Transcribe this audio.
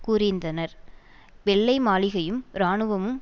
கூறியிருந்தனர் வெள்ளை மாளிகையும் இராணுவமும்